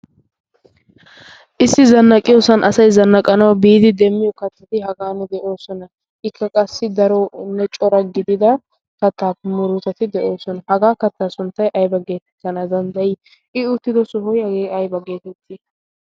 issi zannaqiyoosan asay zannaqanawu biidi demmiyo kattati hagan de'oosona ikka qassi darooonne cora gidida kattaay muruuteti de7oosona hagaa kattaa sunttay aiba geetettana danddayii i uttido sohoy yagee aiba geetettii